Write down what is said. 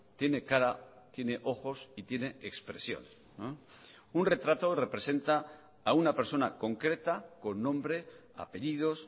tiene cara tiene ojos y tiene expresión un retrato representa a una persona concreta con nombre apellidos